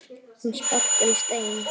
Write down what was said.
Hún sparkar í stein.